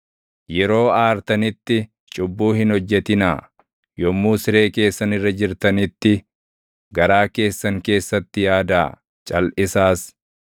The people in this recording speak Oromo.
Yeroo aartanitti cubbuu hin hojjetinaa; yommuu siree keessan irra jirtanitti, garaa keessan keessatti yaadaa; calʼisaas.